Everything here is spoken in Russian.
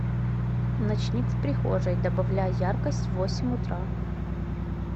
ночник в прихожей добавляй яркость в восемь утра